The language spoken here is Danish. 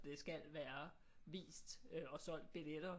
Det skal være vist og solgt billetter